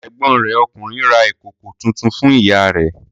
Ẹ̀gbọ́n rẹ̀ ọkùnrin ra ìkòkò tuntun fún ìyá rẹ̀.